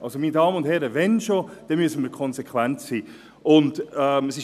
Meine Damen und Herren, wenn schon, dann müssen wir konsequent sein!